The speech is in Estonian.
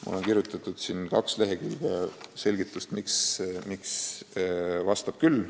" Mul on kirjutatud kaks lehekülge selgitust, miks vastab küll.